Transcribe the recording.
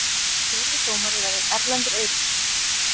Fjórði dómari verður Erlendur Eiríksson.